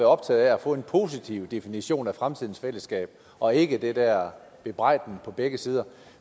optaget af at få en positiv definition af fremtidens fællesskab og ikke det der bebrejdende på begge sider